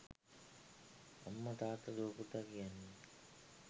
අම්ම තාත්ත දුව පුතා කියන්නේ